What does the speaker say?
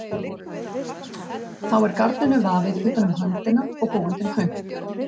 Þá er garninu vafið utan um höndina og búin til hönk.